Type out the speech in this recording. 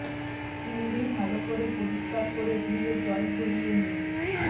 চিংড়ি ভালো করে পরিষ্কার করে ধুয়ে জল ঝড়িয়ে নিন